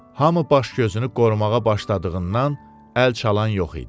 Hamı baş-gözünü qorumağa başladığından əl çalan yox idi.